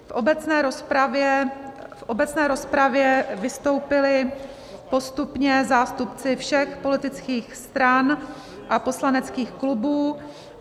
V obecné rozpravě vystoupili postupně zástupci všech politických stran a poslaneckých klubů.